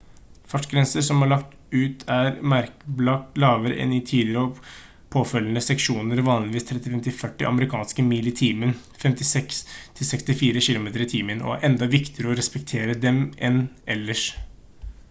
fartsgrenser som er lagt ut er merkbart lavere enn i tidligere og påfølgende seksjoner – vanligvis 35–40 amerikanske mil i timen 56–64 km/t – og det er enda viktigere å respektere dem enn ellers